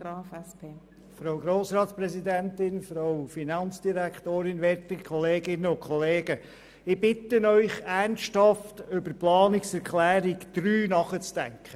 Ich bitte Sie, ernsthaft über die Planungserklärung 3 betreffend die Erbschaftssteuer nachzudenken.